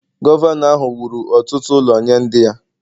Gọvanọ ahụ wuru ọtụtụ ụlọ nye ndị ya